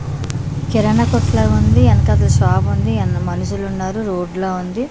కిరాణా కొట్లాగుంది ఎనకదో షాపు ఉంది ఎన్న మనుషులు ఉన్నారు రోడ్ లా ఉంది.